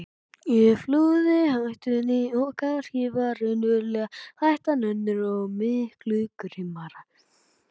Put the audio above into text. Ég flúði hættuna en kannski var raunverulega hættan önnur og miklu grimmari.